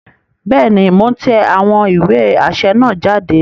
Bẹẹni, Mo n tẹ awọn iwe aṣẹ naa jáde